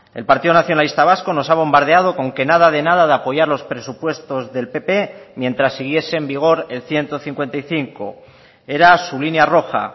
el partido nacionalista vasco nos ha bombardeado con que nada de nada de apoyar los presupuestos del pp mientras siguiese en vigor el ciento cincuenta y cinco era su línea roja